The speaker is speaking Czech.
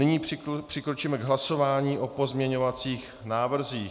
Nyní přikročíme k hlasování o pozměňovacích návrzích.